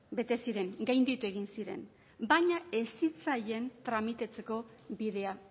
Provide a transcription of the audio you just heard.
bete ziren gainditu egin ziren baina ez zitzaien tramitatzeko bidea